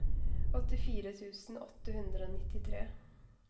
åttifire tusen åtte hundre og nittitre